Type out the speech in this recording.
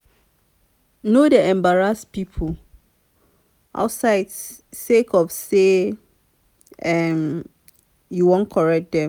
no dey embarrass pipo outside sake of sey um you wan correct dem.